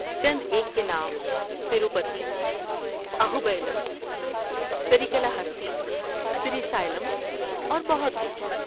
چند ایک کے نام تروپتی، اہوبیلم، سریکلاہستی، سری سیلم اور بہت کچھ